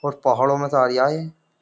और पहाड़ो मे तो आ रिहा ये।